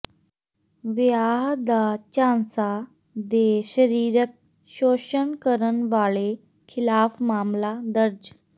ਵਿਆਹ ਦਾ ਝਾਂਸਾ ਦੇ ਸਰੀਰਕ ਸ਼ੋਸ਼ਣ ਕਰਨ ਵਾਲੇ ਖਿਲਾਫ ਮਾਮਲਾ ਦਰਜ